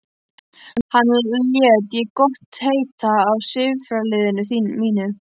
Þetta læt ég gott heita af sifjaliði mínu.